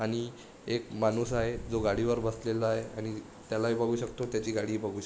आणि एक माणुस आहे तो गाडी वर बसलेला आहे आणि त्याला ही बगु शकतो त्याची गाडी ही बगु शकतो.